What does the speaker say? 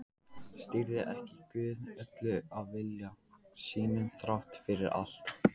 Stýrði ekki Guð öllu af vilja sínum þrátt fyrir allt?